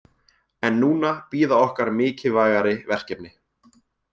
En núna bíða okkar mikilvægari verkefni.